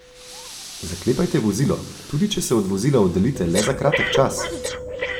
Zaklepajte vozilo, tudi če se od vozila oddaljite le za kratek čas!